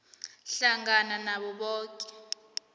hlangana nabo boke